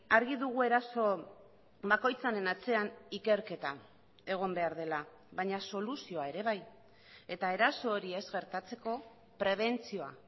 argi dugu eraso bakoitzaren atzean ikerketa egon behar dela baina soluzioa ere bai eta eraso hori ez gertatzeko prebentzioa